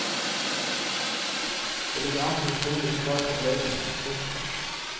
Det ligger an til en stor musikalsk opplevelse. punktum